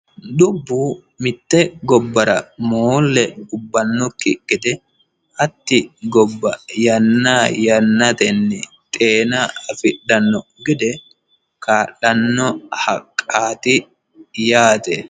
dubbu mitte gobbara moolle ubbannokki gede hatti gobba yanna yannatenni xeena afidhanno gede kaa'lanno haqqaati yaate.